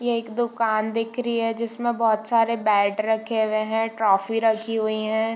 ये एक दुकान दिख रही है जिसमें बहुत सारे बैट रखे हुए हैं ट्रोफी रखी हुई हैं।